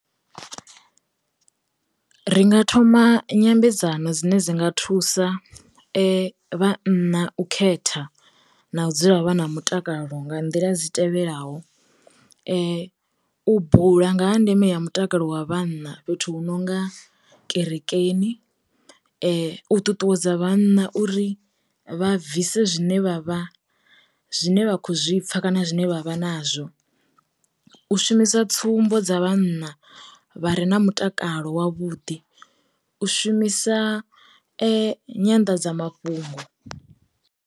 Ri nga thoma nyambedzano dzine dzi nga thusa vhanna u khetha na u dzula vha na mutakalo nga nḓila dzi tevhelaho, u bula nga ha ndeme ya mutakalo wa vhanna fhethu hu no nga kerekeni. U ṱuṱuwedza vhana uri vha bvise zwine vha vha zwine vha kho zwipfa kana zwine vha vha nazwo, u shumisa tsumbo dza vhana vha re na mutakalo wa vhuḓi, u shumisa nyanḓadza mafhungo.